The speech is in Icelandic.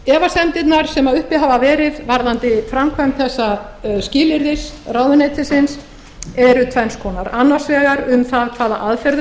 efasemdirnar sem uppi hafa verið varðandi framkvæmd þessa skilyrðis ráðuneytisins eru tvenns konar annars vegar um það hvaða aðferðum